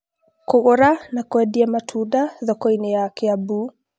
kũgũra na kwendia matunda thoko-inĩ ya Kiambu